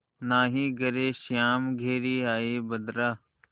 नाहीं घरे श्याम घेरि आये बदरा